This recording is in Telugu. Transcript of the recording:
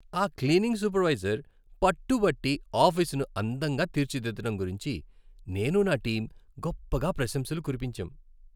ఆ క్లీనింగ్ సూపర్వైజర్ పట్టుబట్టి ఆఫీసును అందంగా తీర్చిదిద్దడం గురించి, నేను, నా టీం గొప్పగా ప్రశంసలు కురిపించాం.